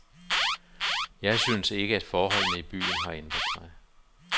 Jeg synes ikke, forholdene i byen har ændret sig.